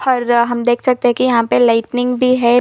हरा हम देख सकते है कि यहाँ पे लाइटिंग भी हैं ।